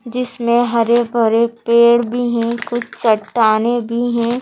जिसमें हरे भरे पेड़ भी हैं कुछ चट्टाने भी हैं।